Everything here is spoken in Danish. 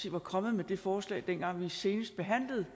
var kommet med det forslag dengang vi senest behandlede